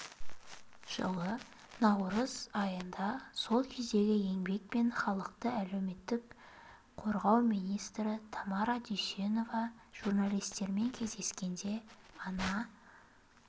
жылы наурыз айында сол кездегі еңбек және халықты әлеуметтік қорғау министрі тамара дүйсенова журналистермен кездескенде ана